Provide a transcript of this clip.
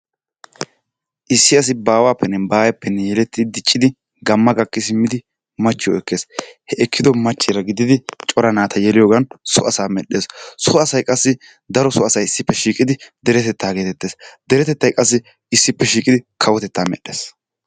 Issi asi baawaappenne baayeeppenne yeleti diccidi gamma gakki simmidi machchiyo ekkes. He ekkido machcheera gididi cora naata yeliyoogan so asaa medhdhes. So asay qassi daro so asay issippe shiiqidi deretetaa geetettees. Deretetay qassi issippe shiiqidi kawotetaa medhdhes.